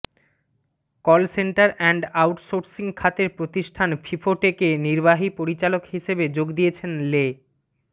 call centre and outsourcing খাতের প্রতিষ্ঠান ফিফোটেকে নির্বাহী পরিচালক হিসেবে যোগ দিয়েছেন লে